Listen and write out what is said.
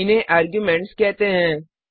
इन्हें आर्ग्युमेंट्स कहते हैं